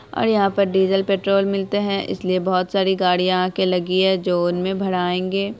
और यहां पर डीजल पेट्रोल मिलते हैं इसलिए बहुत सारी गाड़ियां आके लगी हें जो उनमें भरायेंगे।